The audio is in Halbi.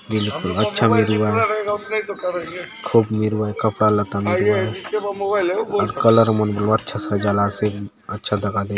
ये अच्छा बले रहुआय खूब मिरुआय कपड़ा लता मन कलर मन बले अच्छा सजालासे अच्छा दखा देवाय।